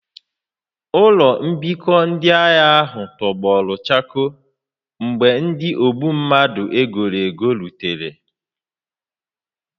Ụlọ mbikọ ndị agha ahụ tọgbọrọ chakoo mgbe ndị ogbu mmadụ e goro ego rutere